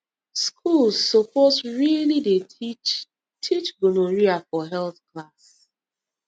schools suppose really dey teach teach gonorrhea for health class